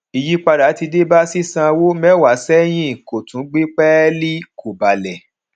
ìyípadà ti dé bá sísanwó mẹwàá sẹyìn kò tún gbé pẹẹlí kò balẹ